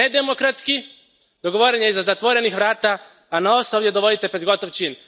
On je nedemokratski, dogovoren je iza zatvorenih vrata, a nas ovdje dovodite pred gotov čin.